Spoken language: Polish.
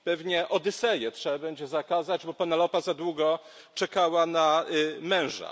Pewnie Odyseję trzeba będzie zakazać, bo Penelopa za długo czekała na męża.